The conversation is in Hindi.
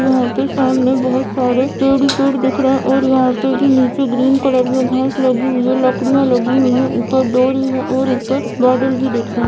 यहां पे सामने बहोत सारे पेड़ ही पेड़ दिख रहे हैं और यहां पे भी नीचे ग्रीन कलर में घांस लगी हुई है लकड़ियां लगी हुई है ऊपर डोरी है और ऊपर बादल भी दिख रहे।